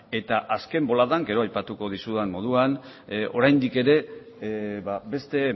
eta azken boladan gero aipatuko dizudan moduan oraindik ere beste